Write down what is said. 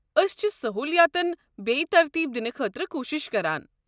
أسۍ چھِ سہوٗلیاتن بیٚیہِ ترتیٖب دِنہٕ خٲطرٕ کوٗشِش کران۔